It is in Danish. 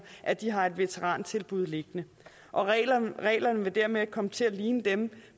at de har et veterantilbud liggende reglerne vil dermed komme til at ligne dem